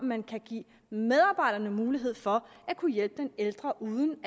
man kan give medarbejderne mulighed for at kunne hjælpe den ældre uden